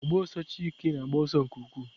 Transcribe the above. O gbs ọsọ Chike na-agba ọsọ nke ukwuu.